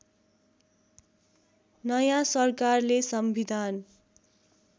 नयाँ सरकारले संविधान